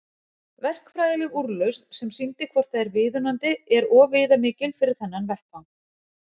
Verkfræðileg úrlausn sem sýndi hvort það er viðunandi er of viðamikil fyrir þennan vettvang.